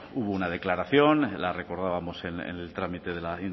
hubo una declaración la recordábamos en el trámite de la